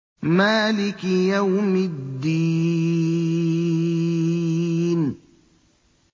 مَالِكِ يَوْمِ الدِّينِ